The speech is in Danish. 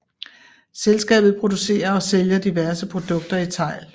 Selskabet producerer og sælger diverse produkter i tegl